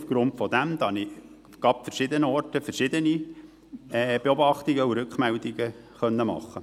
Aufgrund dessen konnte ich gerade an verschiedenen Orten verschiedene Beobachtungen machen und Rückmeldungen erhalten.